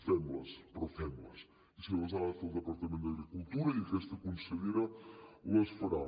fem les però fem les i si les ha de fer el departament d’agricultura i aquesta consellera les farà